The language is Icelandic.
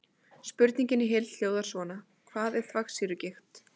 Spurningin í heild hljóðar svona: Hvað er þvagsýrugigt?